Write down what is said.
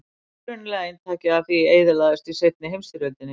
Upprunalega eintakið af því eyðilagðist í seinni heimsstyrjöldinni.